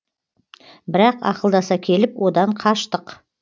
бірақ ақылдаса келіп одан қаштық